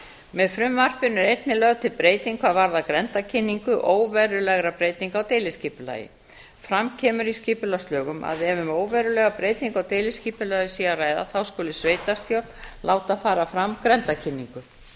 með frumvarpinu er einnig lögð til breyting hvað varðar grenndarkynningu óverulegra breytinga á deiliskipulagi fram kemur í skipulagslögum að ef um óverulega breytingu á deiliskipulagi sé að ræða þá skuli sveitarstjórn láta fara fram grenndarkynningu